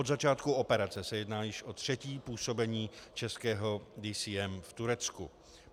Od začátku operace se jedná již o třetí působení českého DCM v Turecku.